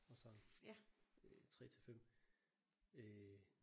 Og sådan øh 3 til 5 øh